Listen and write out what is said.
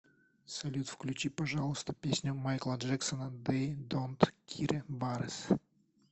салют включи пожалуйста песню майкла джексона дей донт кире барес